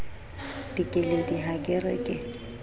dikeledi ha ke re ke